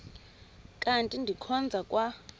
kanti ndikhonza kwa